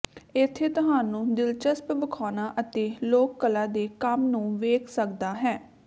ਇੱਥੇ ਤੁਹਾਨੂੰ ਦਿਲਚਸਪ ਵਿਖਾਉਣਾ ਅਤੇ ਲੋਕ ਕਲਾ ਦੇ ਕੰਮ ਨੂੰ ਵੇਖ ਸਕਦਾ ਹੈ